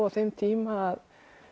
á þeim tíma að